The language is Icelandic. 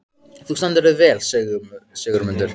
Þú stendur þig vel, Sigurmundur!